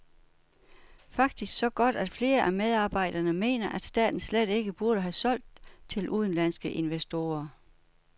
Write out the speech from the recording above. Faktisk så godt, at flere af medarbejderne mener, at staten slet ikke burde have solgt til udenlandske investorer.